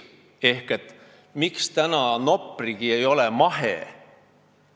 Ehk miks ei ole Noprigi praegu mahetootja?